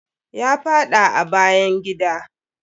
Ya faɗa a bayan gida.